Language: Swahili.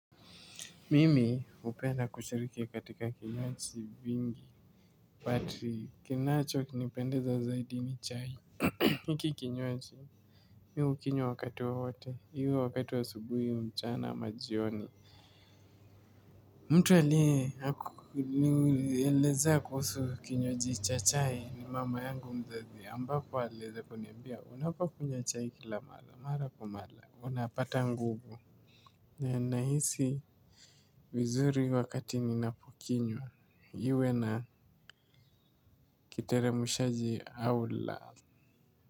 Mimi hupenda kushiriki katika kinywaji vingi. Pati kinacho kinipendeza zaidi ni chai. Hiki kinywaji. Mimi hukinywa wakati wowote. Iwe wakati wa asubuhi mchana ama jioni. Mtu aliye anielezea kuhusu kinywaji cha chai. Ni mama yangu mzazi ambapo aliweza kuniambia. Unapo kunywa chai kila mara. Mara kwa mara. Unapata nguvu. Na nahisi vizuri wakati ninapokinywa. Iwe na kiteremshaji au la.